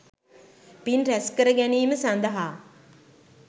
පින් රැස්කර ගැනීම සඳහා